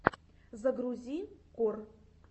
загрузи кор